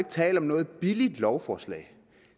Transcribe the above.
tale om noget billigt lovforslag